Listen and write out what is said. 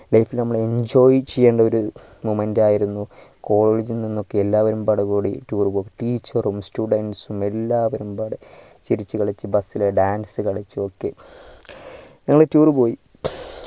life നമ്മള് enjoy ചെയ്യേണ്ട ഒരു moment ആയിരുന്നു college നിന്നൊക്കെ എല്ലാവരും പടു കൂടി tour പോക്ക് teachers ഉം students എല്ലാരും പാടെ ചിരിച്ചു കളിച്ച് bus ഇൽ dance കളിച്ചൊക്കെ ഞങൾ tour പോയി